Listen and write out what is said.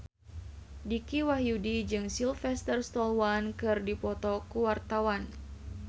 Dicky Wahyudi jeung Sylvester Stallone keur dipoto ku wartawan